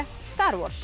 star